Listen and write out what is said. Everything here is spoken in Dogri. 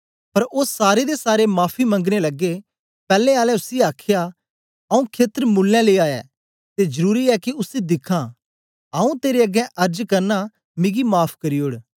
पर ओ सारे दे सारे माफी मंगने लगे पैले आले उसी आखया आऊँ खेत्र मुल्लें लिया ऐ ते जरुरी ऐ के उसी दिखां आऊँ तेरे अगें अर्ज करना मिगी माफ़ करी ओड़